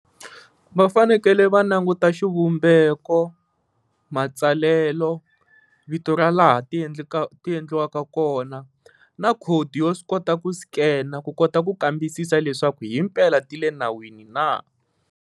Va fanekele va languta xivumbeko, matsalelo, vito ra laha ti endleka endliwaka kona na khodi yo swi kota ku scan-a ku kota ku kambisisa leswaku himpela ti le nawini na.